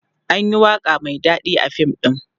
anyi waƙa Mai daɗi a fim ɗin